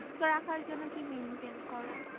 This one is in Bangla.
সুস্থ রাখার জন্য কি maintain করো কি ভাবে maintain করো?